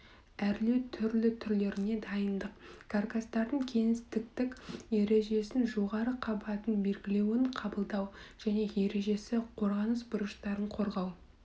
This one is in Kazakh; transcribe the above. әрлеу түрлі түрлеріне дайындық каркастардың кеңістіктік ережесін жоғары қабатын белгілеуін қабылдау және ережесі қорғаныс бұрыштарын қорғау